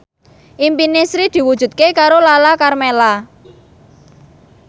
impine Sri diwujudke karo Lala Karmela